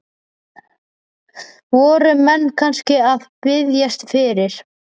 Voru menn kannski að biðjast fyrir?